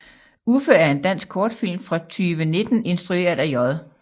Uffe er en dansk kortfilm fra 2019 instrueret af J